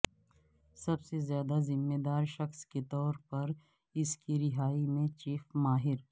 سب سے زیادہ ذمہ دار شخص کے طور پر اس کی رہائی میں چیف ماہر